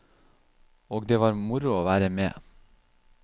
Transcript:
Og det var moro å være med.